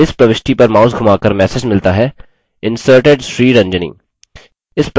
इस प्रविष्टि पर माउस धुमाकर मैसेज मिलता है inserted: sriranjani